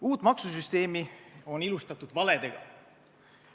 Uut maksusüsteemi on ilustatud valedega.